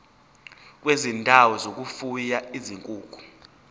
kwezindawo zokufuya izinkukhu